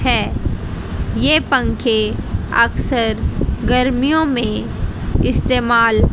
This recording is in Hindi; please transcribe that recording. हैं ये पंखे अक्सर गर्मियों में इस्तेमाल--